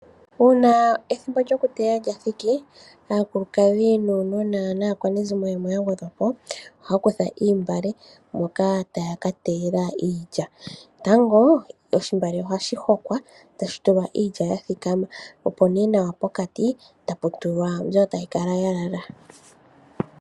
Uuna ethimbo lyokuteya lyathiki aakwanegumbo naashiinda ohaya kutha oontungwa moka taya ka teyela iilya ano tango ohaya hoko iilya moontungwa yathikama opo iikwawo woo yigwanemo mbi tayi kala ya lala.